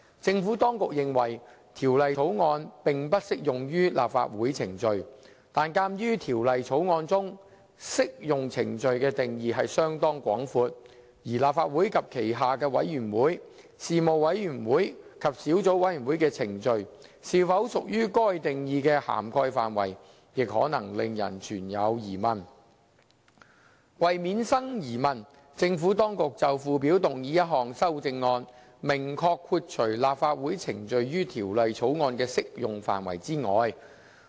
政府當局認為《條例草案》並不適用於立法會程序，但鑒於《條例草案》中"適用程序"的定義相當廣闊，而立法會及其轄下的委員會、事務委員會及小組委員會的程序，是否屬於該定義的涵蓋範圍亦可能令人存有疑問。為免生疑問，政府當局就附表動議一項修正案，明確豁除立法會程序於《條例草案》的適用範圍外。